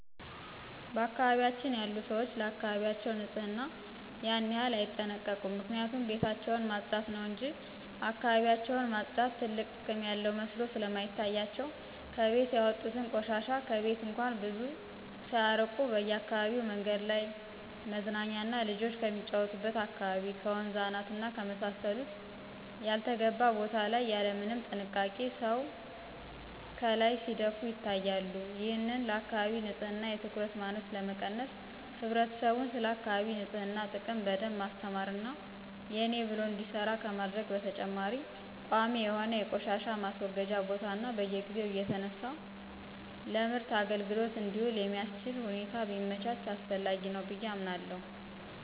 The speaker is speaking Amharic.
በአካባቢያችን ያሉ ሰዎች ለአካባቢያቸው ንጽህና ያን ያክል አይጠነቀቁም ምክንያቱም ቤታቸውን ማጽዳት ነው እንጅ እካባቢያቸውን ማጽዳት ትልቅ ጥቅም ያለው መስሎ ስለማይታያቸው ከቤት ያወጡትን ቆሻሻ ከቤት እንኳን ብዙ ሳያርቁ በአካባቢው መንገድ ላይ፣ መዝናኛና ልጆች ከሚጫወቱበት አካባቢ፣ ከወንዝ አናት እና ከመሳሰሉት ያልተገባ ቤት ላይ ያለምንም ጥንቃቄ ሰው ካላይ ሲደፉ ይታያሉ። ይህንን ለአካባቢ ንጽህና የትኩረት ማነስ ለመቀነስ ህብረተሰቡን ስለአካቢ ንጽህና ጥቅም በደንብ ማስተማር እና የኔ ብሎ እንዲሰራ ከማድረግ በተጨማሪ ቋሚ የሆነ የቆሻሻ ማስወገጃ ቦታ እና በየጊዜው እየተነሳ ለምርት አግልግሎት እንዲውል የሚአስችል ሁኔታ ቢመቻች አስፈላጊ ነው ብየ አምናለሁ።